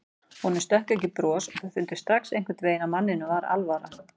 Honum stökk ekki bros og þau fundu strax einhvern veginn að manninum var alvara.